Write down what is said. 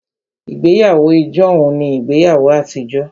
Ìgbéyàwó ijohun ní ìgbéyàwó àtijọ́